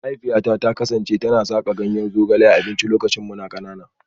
Mahaifiyata ta kasance tana saka ganyen zogale a abinci lokacin muna kanana